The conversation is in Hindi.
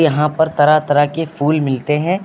यहां पर तरह तरह के फूल मिलते हैं।